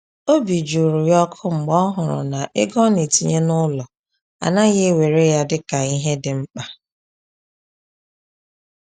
Obi jụrụ ya ọkụ mgbe ọ hụrụ na ego ọ na-etinye n’ụlọ anaghị ewere ya dịka ihe dị mkpa.